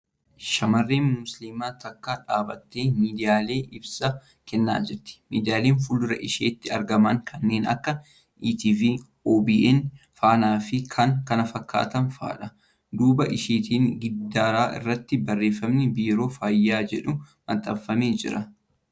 Shamarreen Musliimaaa takka dhaabbattee miidiyaaleef ibsa kennaa jirti. Miidiyaaleeen fuuldura isheetti argaman kanneen akka ETV, OBN, Faanaa fi kan kana fakkaatan fa'aadha. Duuba isheetti giddaara irratti barreeffamni ' Biiroo Fayyaa ' jedhu maxxanfamee jira.